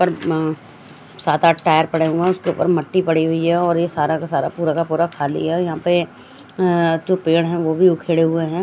पर अ सात आठ टायर पड़े हुए हैं उसके ऊपर मट्टी पड़ी हुई है और ये सारा का सारा पूरा का पूरा खाली है और यहाँ पे अ जो पेड़ हैं वो भी उखेड़े हुए हैं।